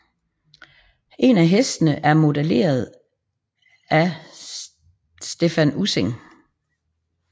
En af hestene er modelleret af Stephan Ussing